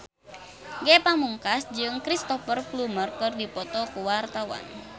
Ge Pamungkas jeung Cristhoper Plumer keur dipoto ku wartawan